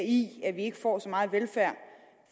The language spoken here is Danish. i at vi ikke får så meget velfærd